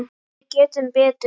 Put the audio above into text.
Við getum betur.